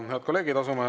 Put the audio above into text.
Head kolleegid!